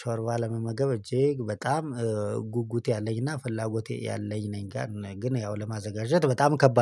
ሾርባ ለመመገብ እጄ በጣም ጉጉት ያለኝና ፍላጎት ያለኝ ነኝ ጋር ግን ያው ለማዘጋጀት በጣም ከባድ